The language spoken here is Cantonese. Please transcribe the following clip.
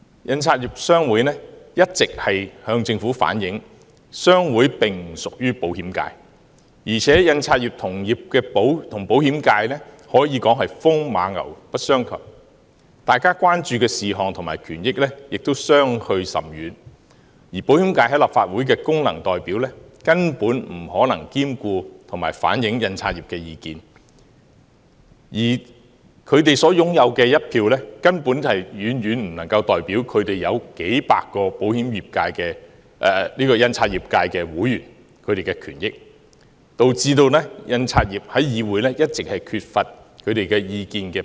印刷業商會一直向政府反映，商會並不屬於保險界，而印刷業與保險界可以說是風馬牛不相及，大家關注的事項和權益亦相距甚遠，保險界在立法會的功能界別代表根本不可能兼顧及反映印刷業界的意見，而他們所擁有的一票根本遠遠不能代表數百名印刷業界會員的權益，導致印刷業界在議會一直缺乏表達意見的機會。